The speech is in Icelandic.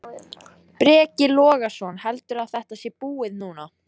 Breki Logason: Heldurðu að þetta sé búið núna?